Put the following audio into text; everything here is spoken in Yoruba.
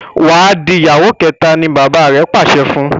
Wá dì ìyàwó kéta! ní bàbá rẹ pàṣẹ fún.